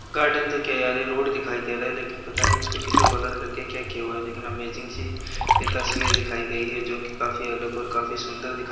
garden ते क्या यार ये रोड दिखाई दे रहा है लेकिन पता नहीं इसको किसी ब्लर करके क्या किया हुआ है लेकिन अमेजिंग सी ये तस्वीर दिखाई गई है जो की काफी अलग और काफी सुंदर दिखाई--